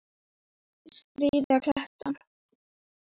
Skríða kletta.